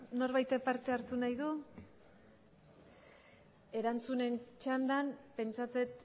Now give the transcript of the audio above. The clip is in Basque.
norbaitek parte hartu nahi du erantzunen txandan pentsatzen